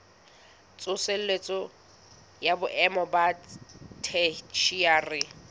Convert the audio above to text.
tsosoloso ya boemo ba theshiari